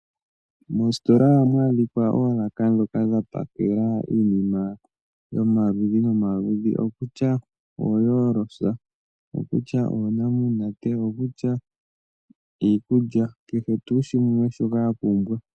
Moositola ohamu adhika oolaka ndhoka dha pakela iinima yomaludhi nomaludhi ngaashi oohoolosa, oonamunate, iikulya nakehe tuu shimwe shoka wa pumbwa.